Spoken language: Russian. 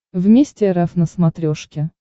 вместе рф на смотрешке